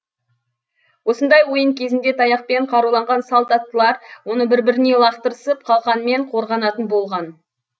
осындай ойын кезінде таяқпен қаруланған салт аттылар оны бір біріне лақтырысып қалқанмен қорғанатын болған